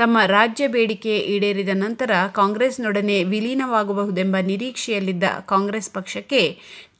ತಮ್ಮ ರಾಜ್ಯಬೇಡಿಕೆ ಈಡೇರಿದ ನಂತರ ಕಾಂಗ್ರೆಸ್ನೊಡನೆ ವಿಲೀನವಾಗಬಹುದೆಂಬ ನಿರೀಕ್ಷೆಯಲ್ಲಿದ್ದ ಕಾಂಗ್ರೆಸ್ ಪಕ್ಷಕ್ಕೆ